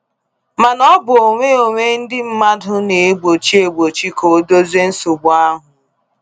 Mana ọ bụ onwe-onwe ndị mmadụ na egbochi egbochi ka a dozie nsogbu ahụ.